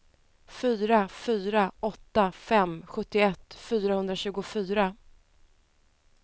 fyra fyra åtta fem sjuttioett fyrahundratjugofyra